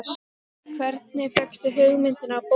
Hvernig fékkstu hugmyndina af bókinni?